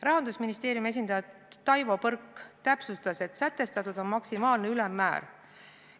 Rahandusministeeriumi esindaja Taivo Põrk täpsustas, et sätestatud on maksimaalne ülemmäär.